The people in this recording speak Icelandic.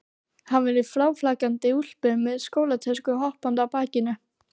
Hann var í fráflakandi úlpu með skólatöskuna hoppandi á bakinu.